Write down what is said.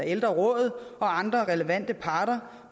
ældrerådet og andre relevante parter